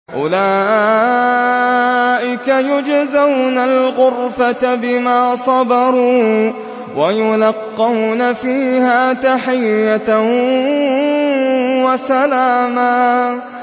أُولَٰئِكَ يُجْزَوْنَ الْغُرْفَةَ بِمَا صَبَرُوا وَيُلَقَّوْنَ فِيهَا تَحِيَّةً وَسَلَامًا